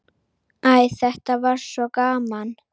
Æ, þetta var svo gaman.